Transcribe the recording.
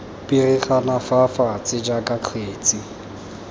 pirigana fa fatshe jaaka kgetse